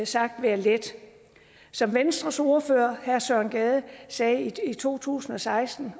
sagt være let som venstres ordfører herre søren gade sagde i 2016